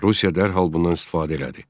Rusiya dərhal bundan istifadə elədi.